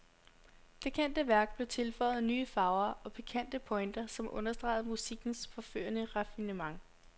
Det kendte værk blev tilføjet nye farver og pikante pointer, som understregede musikkens forførende raffinement.